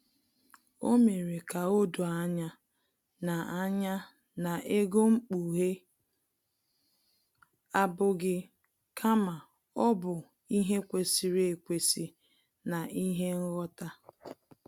O mere ka o doo anya na anya na ego mkpughe abụghị kama ọ bụ ihe kwesịrị ekwesị na ihe nghọta